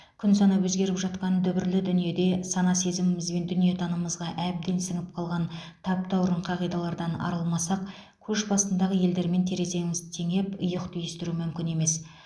күн санап өзгеріп жатқан дүбірлі дүниеде сана сезіміміз бен дүниетанымымызға әбден сіңіп қалған таптаурын қағидалардан арылмасақ көш басындағы елдермен тереземізді теңеп иық түйістіру мүмкін емес